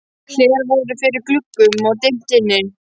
Hlerar voru fyrir gluggum og dimmt inni.